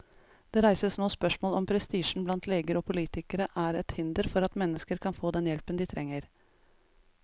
Det reises nå spørsmål om prestisjen blant leger og politikere er et hinder for at mennesker kan få den hjelpen de trenger.